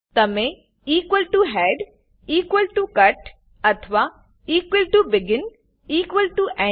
તમે head cut અથવા begin end